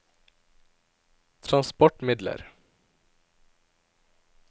transportmidler